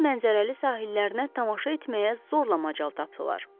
Onun mənzərəli sahillərinə tamaşa etməyə zorla macal tapdılar.